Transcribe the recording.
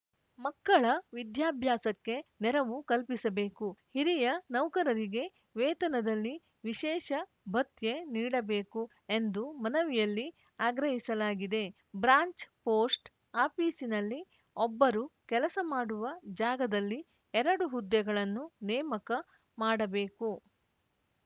ಮಕ್ಕಳ ವಿದ್ಯಾಭ್ಯಾಸಕ್ಕೆ ನೆರವು ಕಲ್ಪಿಸಬೇಕು ಹಿರಿಯ ನೌಕರರಿಗೆ ವೇತನದಲ್ಲಿ ವಿಶೇಷ ಭತ್ಯೆ ನೀಡಬೇಕು ಎಂದು ಮನವಿಯಲ್ಲಿ ಆಗ್ರಹಿಸಲಾಗಿದೆ ಬ್ರಾಂಚ್‌ ಪೋಸ್ಟ್‌ ಆಫೀಸ್‌ನಲ್ಲಿ ಒಬ್ಬರು ಕೆಲಸ ಮಾಡುವ ಜಾಗದಲ್ಲಿ ಎರಡು ಹುದ್ದೆಗಳನ್ನು ನೇಮಕ ಮಾಡಬೇಕು